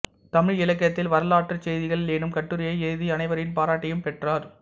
தமிழிலக்கியத்தில் வரலாற்றுச் செய்திகள் எனும் கட்டுரையை எழுதி அனைவரின் பாராட்டையும் பெற்றார்